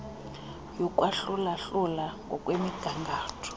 yokwahlula hlula ngokwemigangatho